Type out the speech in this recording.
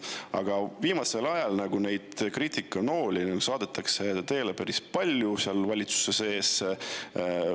Aga viimasel ajal neid kriitikanooli saadetakse teele päris palju seal valitsuse sees.